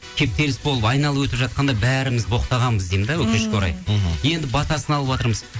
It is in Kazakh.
кептеліс болып айналып өтіп жатқанда бәріміз боқтағанбыз деймін де өкінішкер орай мхм енді батасын алыватырмыз